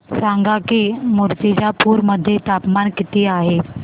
सांगा की मुर्तिजापूर मध्ये तापमान किती आहे